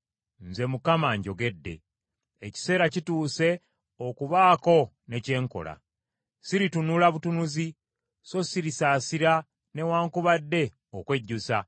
“ ‘Nze Mukama njogedde. Ekiseera kituuse okubaako ne kye nkola. Siritunula butunuzi so sirisaasira newaakubadde okwejjusa.